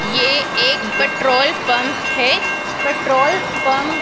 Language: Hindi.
ये एक पेट्रोल पंप है पेट्रोल पंप --